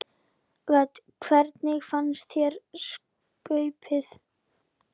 Hödd: Hvernig fannst þér skaupið?